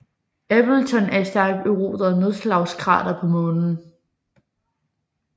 Appleton er et stærkt eroderet nedslagskrater på Månen